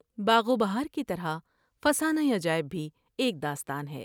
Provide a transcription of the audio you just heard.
باغ و بہار کی طرح فسانہ عجائب بھی ایک داستان ہے ۔